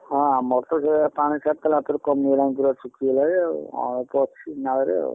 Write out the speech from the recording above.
ହଁ ଆମର ତ ସେଇଆ ପାଣି ଛାଡ଼ିଥିଲୁ ରାତିରେ ପୁରା କମିଗଲାଣି ପୁରା ଶୁଖି ଗଲାଣି ଆଉ ଅଳପ ଅଛି ନାଳରେ ଆଉ।